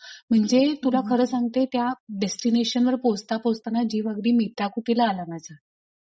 म्हणजे तुला खरं सांगते त्या डेस्टीनेशनवर पोहचता पोहचता ना जीव अगदी मेटाकुटीला आला माझा.